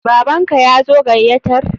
Baban ka yazo gayatar?